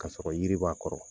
Ka sɔrɔ yiri b'a kɔrɔ